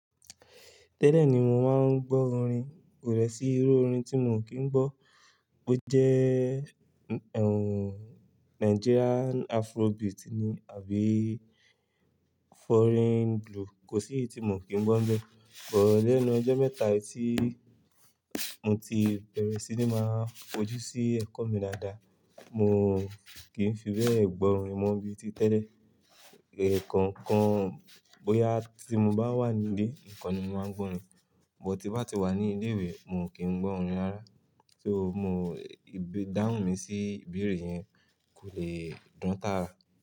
Tè lè ní mo máa ń gbó orin, kò dé sí irú orin tí mo kin gbó, bó je nigerian afro beat ni àbí foreign blue, ko si eyi ti mo ki n gbo n be, but lenu ojo meeta yi ti moti bere si maa foju si eko mi daadaa, mo ki n fi be gbo orin mo bi ti tele ekan kan boya ti mo ba wa ni ile nikan ni mo maa n gbo orin, but ti n ba ti wa ni ile iwe mo ki n gbo orin raaraa mo— idahun mi si i ibeere yen konle dan taara.